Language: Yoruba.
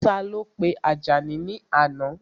Ta ló pe Àjàní ní àná?